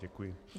Děkuji.